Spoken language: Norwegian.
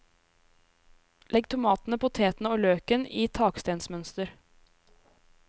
Legg tomatene, potetene og løken i takstenmønster.